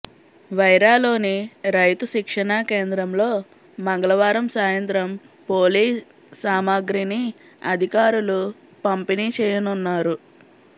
వైరాలోని రైతు శిక్షణా కేంద్రంలో మంగళవారం సాయంత్రం పోలింగ్ సామగ్రిని అధికారులు పంపిణీ చేయనున్నారు